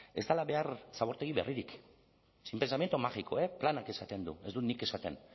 ez dela behar zabortegi berririk sin pensamiento mágico planak esaten du ez dut nik esaten